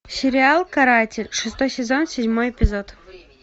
сериал каратель шестой сезон седьмой эпизод